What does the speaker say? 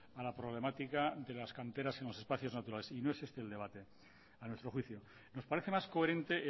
a la problemática de las canteras en los espacios naturales y no es este el debate a nuestro juicio nos parece más coherente